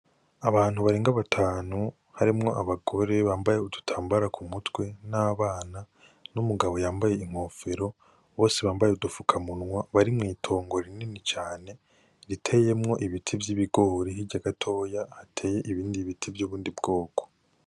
Abantu barenga batanu harimwo abagore bambaye udutambara ku mutwe n'abana n'umugabo yambaye inkofero, bose bambaye udupfukamunwa bari mw'itongo rinini cane riteyemwo ibiti vy'ibigori, hirya gatoyi hateyemwo ibindi biti vy'ubundi bwoko.